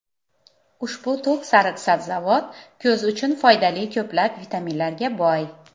Ushbu to‘q sariq sabzavot ko‘z uchun foydali ko‘plab vitaminlarga boy.